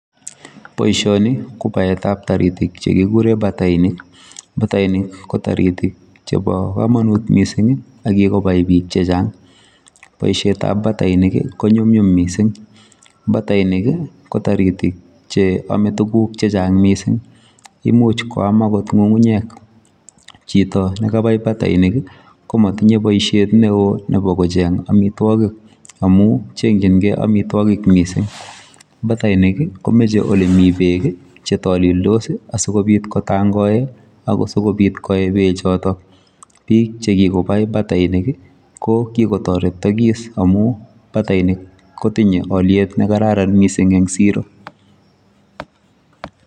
Boisioni ko baetap taritik chekikure batainik. Batainik ko taritik chepo komonut mising akikobai biik chechang. Boishetap batainik ko nyumnyum mising. Batainik ko taritik cheome tuguk chechang mising. Imuch koam akot ng'ung'unyek. Chito nekabai batainik ko motinye boishet neo nepo kocheng amitwokik amu cheng'chingei amitwokik mising. Batainik komeche olemi beek chetolildos asikobit kotangoe ako sikobit koe bechoto. Biik chekikobai batainik ko kikotoretokis amu batainik kotinye alyet nekararan mising eng siro.